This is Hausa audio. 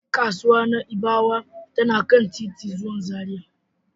Kasuwar Na'ibawa tana kan titin zuwa Zaria.